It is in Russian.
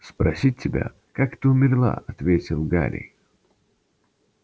спросить тебя как ты умерла ответил гарри